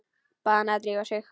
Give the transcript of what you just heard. Bað hana að drífa sig.